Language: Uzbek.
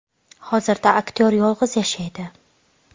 Hozirda aktyor yolg‘iz yashaydi.